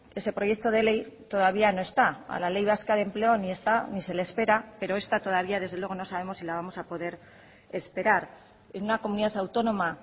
ese proyecto de ley todavía no está a la ley vasca de empleo ni está ni se le espera pero esta todavía desde luego no sabemos si la vamos a poder esperar en una comunidad autónoma